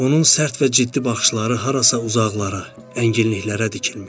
Onun sərt və ciddi baxışları harasa uzaqlara, ənginliklərə dikilmişdi.